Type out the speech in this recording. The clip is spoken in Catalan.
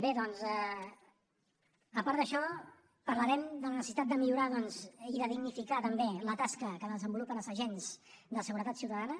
bé doncs a part d’això parlarem de la necessitat de millorar doncs i de dignificar també la tasca que desenvolupen els agents de seguretat ciutadana